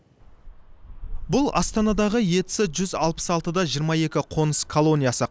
бұл астанадағы ец жүз алпыс алты да жиырма екі қоныс колониясы